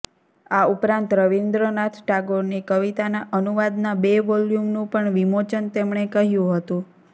આ ઉપરાંત રવિન્દ્ર નાથ ટાગોરની કવિતાના અનુવાદના બે વોલ્યુમનું પણ વિમોચન તેમણે કહ્યું હતું